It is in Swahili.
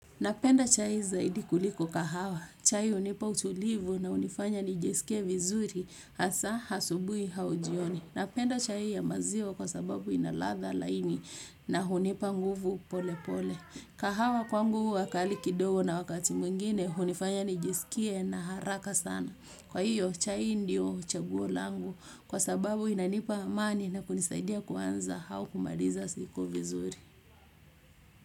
Napenda chai zaidi kuliko kahawa. Chaih unipa utulivu na hunifanya nijisikie vizuri hasaa hasubui hauj ioni. Napenda chai ya maziwa kwa sababu inaladha laini na hunipa nguvu pole pole. Kahawa kwangu huwa kali kidogo na wakati mwingine hunifanya nijisikie na haraka sana. Kwa hiyo chai ndio chaguo langu kwa sababu inanipa amani na kunisaidia kuanza au kumaliza siku vizuri.